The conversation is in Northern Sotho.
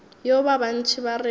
yeo ba bantši ba rego